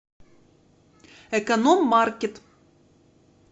эконом маркет